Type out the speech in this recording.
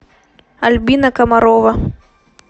альбина комарова